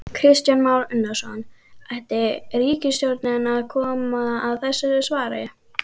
Kristján Már Unnarsson: Ætti ríkisstjórnin að koma að þessu svari?